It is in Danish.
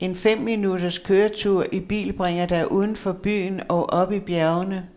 En fem minutters køretur i bil bringer dig udenfor byen og op i bjergene.